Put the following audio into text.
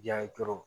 Ja ye dɔrɔn